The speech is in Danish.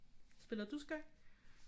Spiller du skak